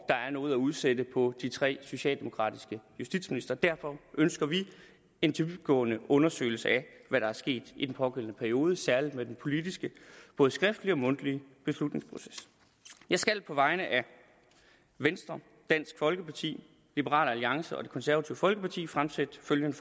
er noget at udsætte på de tre socialdemokratiske justitsministre derfor ønsker vi en dybtgående undersøgelse af hvad der er sket i den pågældende periode særlig med den politiske både skriftlige og mundtlige beslutningsproces jeg skal på vegne af venstre dansk folkeparti liberal alliance og det konservative folkeparti fremsætte følgende